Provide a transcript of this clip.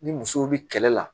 Ni musow bi kɛlɛ la